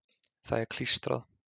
Það er klístrað.